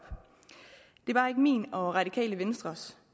det er bare ikke min og radikale venstres